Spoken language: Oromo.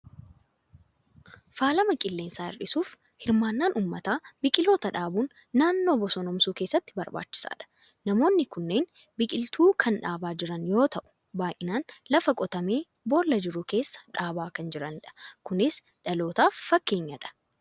Faalama qilleensaa hir'isuuf hirmaannaan uummataa biqiltoota dhaabuun naannoo bosonoomsuu keessatti barbaachisaadha. Namoonni kunneen biqiltuu kan dhaabaa jran yoo ta'u, baay'inaan lafa qotamee boolla jiru keessa dhaabaa kan jiranidha. Kunis dhalootaaf fakkeenyadha.